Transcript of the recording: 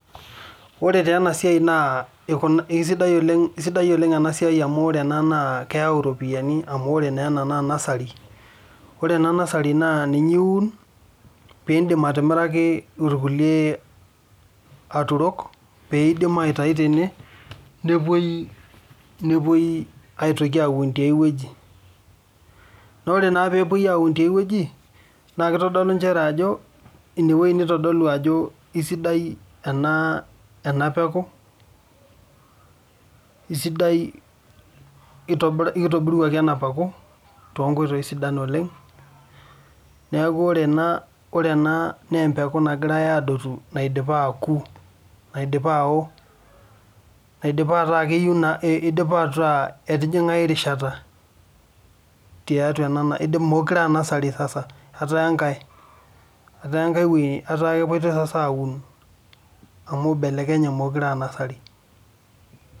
This work is good because this one brings money because this is nursery. This nursery you can plant and sell to other people where they can take from here and to plant in other places. And when it is taken to be plant in other places it shows that this seedlings is good and it has been brought well in a good way so this seedling that is being uproot is one that has been ripe and it is not nursery again and is being taken to another place to be planted.